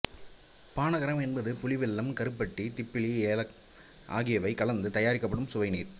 பானக்கரம் என்பது புளி வெல்லம்கருப்பட்டி திப்பிலி ஏலம் ஆகியவை கலந்து தயாரிக்கப்படும் சுவைநீர்